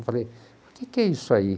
Eu falei, o que que é isso aí?